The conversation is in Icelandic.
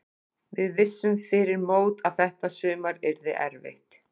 Við vissum fyrir mót að þetta sumar yrði erfitt.